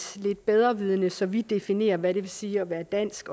bedrevidende så vi definerer hvad det vil sige at være dansk